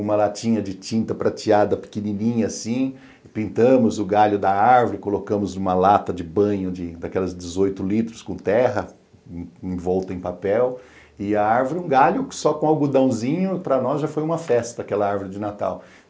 uma latinha de tinta prateada pequenininha assim, pintamos o galho da árvore, colocamos uma lata de banho daquelas dezoito litros com terra, envolta em papel, e a árvore, um galho só com algodãozinho, para nós já foi uma festa aquela árvore de Natal.